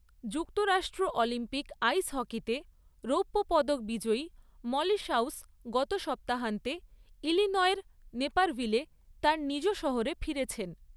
যুক্তরাষ্ট্র Olympic ice হকিতে রৌপ্য পদক বিজয়ী মলি শাউস গত সপ্তাহান্তে ইলিনয়ের নেপারভিলে তাঁর নিজ শহরে ফিরেছেন।